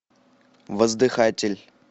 воздыхатель